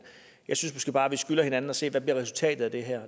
jeg synes måske bare vi skylder hinanden at se på hvad resultatet af det her